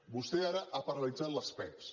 vostè ara ha paralitzat les pevs